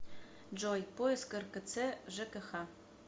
джой поиск ркц жкх